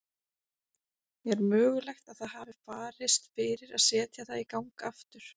Er mögulegt að það hafi farist fyrir að setja það í gang aftur?